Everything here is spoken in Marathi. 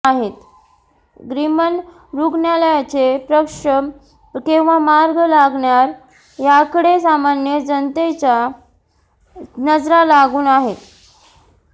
ग्रामीण रुग्णालयाचा प्रश्न केव्हा मार्गी लागणार याकडे सामान्य जनतेच्या नजरा लागून आहेत